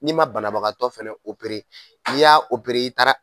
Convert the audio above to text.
N'i ma banabagatɔ fana oepere, n'i yra opere i taara